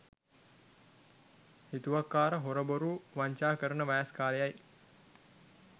හිතුවක්කාර හොර බොරු වංචා කරන වයස් කාලයයි